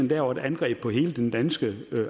laver et angreb på hele den danske